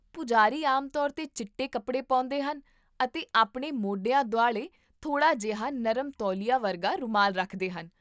ਪੁਜਾਰੀ ਆਮ ਤੌਰ 'ਤੇ ਚਿੱਟੇ ਕੱਪੜੇ ਪਾਉਂਦੇ ਹਨ ਅਤੇ ਆਪਣੇ ਮੋਢਿਆਂ ਦੁਆਲੇ ਥੋੜਾ ਜਿਹਾ ਨਰਮ ਤੌਲੀਆ ਵਰਗਾ ਰੁਮਾਲ ਰੱਖਦੇ ਹਨ